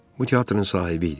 Bu teatrın sahibi idi.